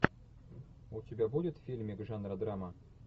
у тебя будет фильмик жанра драма